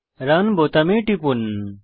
run বোতামে টিপুন